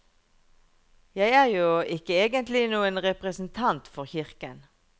Jeg er jo ikke egentlig noen representant for kirken.